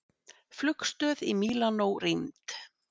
Flugstöð í Mílanó rýmd